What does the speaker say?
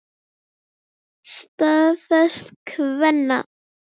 Staða efstu kvenna